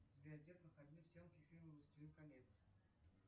сбер где проходили съемки фильма властелин колец